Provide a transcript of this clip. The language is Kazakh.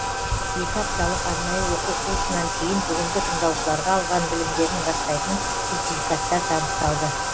екі апталық арнайы оқу курсынан кейін бүгінгі тыңдаушыларға алған білімдерін растайтын сертификаттар табысталды